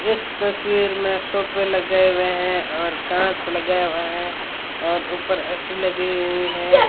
इस तस्वीर में सोपे लगाए हुए हैं और कांच लगाया हुआ है और ऊपर ए_सी लगी हुई है।